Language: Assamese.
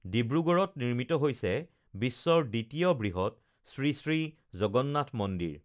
ডিব্ৰুগড় নিৰ্মিত হৈছে বিশ্বৰ দ্বিতীয় বৃহত শ্ৰীশ্ৰী জগন্নাথ মন্দিৰ